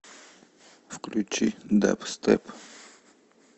включи дабстеп